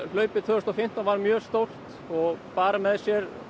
hlaupið tvö þúsund og fimmtán var mjög stórt og bar með sér